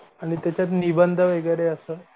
आणि त्याच्यात निबंध वगैरे असं